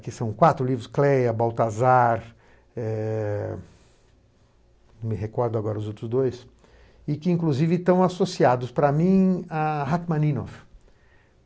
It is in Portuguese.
que são quatro livros, Cleia, Baltazar, eh me recordo agora os outros dois, e que inclusive estão associados para mim a Rachmaninoff.